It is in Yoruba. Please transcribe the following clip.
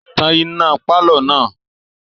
Tan iná pálọ̀ náà!